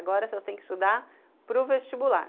Agora, se eu tenho que estudar, para o vestibular.